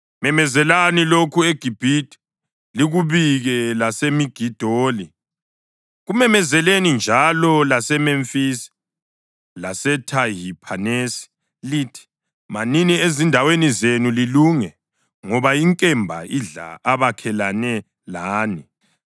“Memezelani lokhu eGibhithe, likubike laseMigidoli; kumemezeleni njalo laseMemfisi laseThahiphanesi lithi: ‘Manini ezindaweni zenu lilunge, ngoba inkemba idla abakhelene lani.’